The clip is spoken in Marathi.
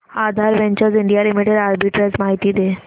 आधार वेंचर्स इंडिया लिमिटेड आर्बिट्रेज माहिती दे